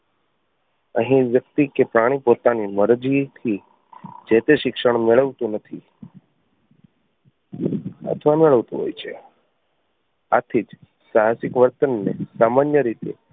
અહીં વ્યક્તિ કે પ્રાણી પોતાની મરજી થી જે તે શિક્ષણ મેળવતું નથી અથવા મેળવતું હોય છે આથી જ સાહસિક વર્તન ને સામાન્ય રીતે